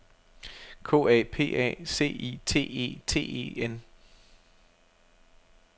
K A P A C I T E T E N